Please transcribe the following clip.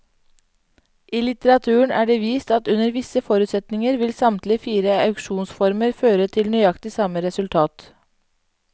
I litteraturen er det vist at under visse forutsetninger vil samtlige fire auksjonsformer føre til nøyaktig samme resultat.